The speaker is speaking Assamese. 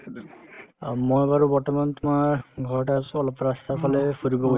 অ, মই বাৰু বৰ্তমান তোমাৰ ঘৰতে আছো অলপ ৰাস্তাৰফালে ফুৰিব